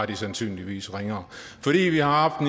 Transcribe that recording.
er sandsynligvis ringere fordi vi har